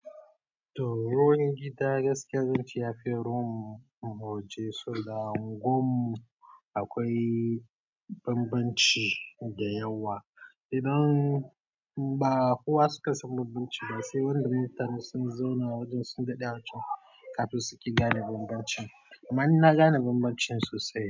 To ruwan gida gaskiya zance yafi ruwan mu waje so da unguwar mu akwai bambanci da yawa. Idan bakowa suka san bambanci ba sai wanda mutane sun zauna wajen sun daɗe a wajen, kafin suke gane bambanci. Ammani na gane bambancin sosai.